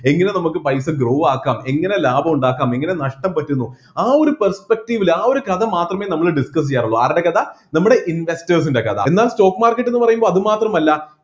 എങ്ങനെ നമ്മക്ക് പൈസ grow ആക്കാം എങ്ങനെ ലാഭം ഉണ്ടാക്കാം എങ്ങനെ നഷ്‌ടം പറ്റുന്നു ആ ഒരു perspective ൽ ആ ഒരു കഥ മാത്രമെ നമ്മൾ discuss ചെയ്യാറുള്ളൂ ആരുടെ കഥ നമ്മുടെ investors ൻ്റെ കഥ എന്നാ stock market എന്നു പറയുമ്പോ അതുമാത്രമല്ല